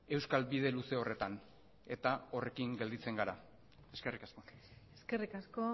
euskal bide luze horretan eta horrekin gelditzen gara eskerrik asko eskerrik asko